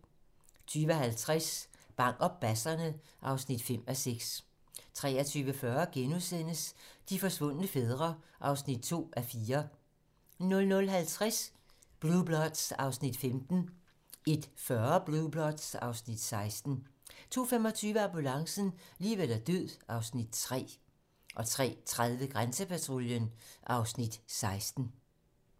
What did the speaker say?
20:50: Bang og basserne (5:6) 23:40: De forsvundne fædre (2:4)* 00:50: Blue Bloods (Afs. 15) 01:40: Blue Bloods (Afs. 16) 02:25: Ambulancen - liv eller død (Afs. 3) 03:30: Grænsepatruljen (Afs. 16)